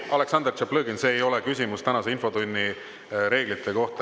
Aleksandr Tšlaplõgin, see ei ole küsimus tänase infotunni reeglite kohta.